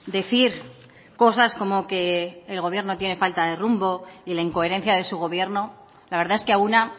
decir cosas como que el gobierno tiene falta de rumbo y la incoherencia de su gobierno la verdad es que a una